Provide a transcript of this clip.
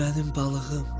Mənim balığım!